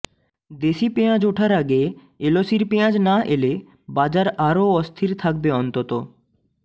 দেশি পেঁয়াজ ওঠার আগে এলসির পেঁয়াজ না এলে বাজার আরও অস্থির থাকবে অন্তত